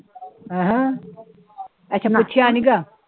ਅਹ ਅੱਛਾ ਪੁਛਿਆ ਜੀ ਹੈਗਾ